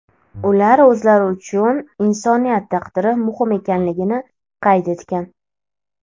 Ular o‘zlari uchun insoniyat taqdiri muhim ekanligini qayd etgan.